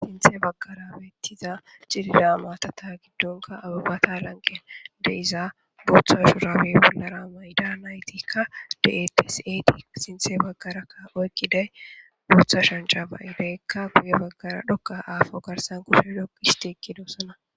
Sinthe baggarabeettiza cidida maatata giddonka abubata lanqen deiza bootha shurabey bollara mayda naytikka deteseti sinthe baggarakka oykkiday bootha shanca bayideykka guye baggara dhokka aafo garsan kushe doq histi kidoossana.